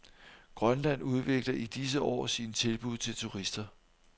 Grønland udvikler i disse år sine tilbud til turister.